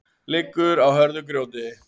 liggur á hörðu grjóti